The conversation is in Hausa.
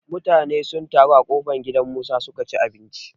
Mutane sun taro a ƙofar gidan Musa su ka ci abinci.